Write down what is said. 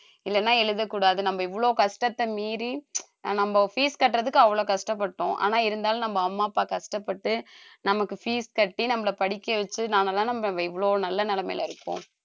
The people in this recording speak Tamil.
இல்லைன்னா எழுதக்கூடாது நம்ம இவ்வளவு கஷ்டத்தை மீறி நம்ம fees கட்டுறதுக்கு அவ்வளவு கஷ்டப்பட்டோம் ஆனா இருந்தாலும் நம்ம அம்மா அப்பா கஷ்டப்பட்டு நமக்கு fees கட்டி நம்மளை படிக்க வச்சு நாமெல்லாம் நம்ம இவ்வளவு நல்ல நிலைமையில இருக்கோம்